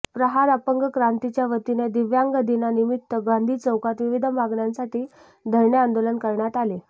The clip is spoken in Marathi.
प्रहार अपंग क्रांतीच्या वतीने दिव्यांग दिनानिमित्त गांधी चौकात विविध मागण्यांसाठी धरणे आंदोलन करण्यात आले